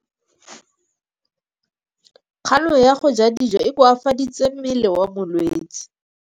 Kganô ya go ja dijo e koafaditse mmele wa molwetse.